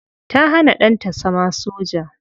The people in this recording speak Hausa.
Ta hana danta zama soja.